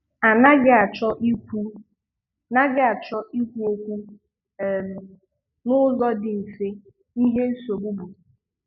Á naghị achọ ikwu naghị achọ ikwu okwu um n'ụzọ dị mfe ihe nsogbu bụ.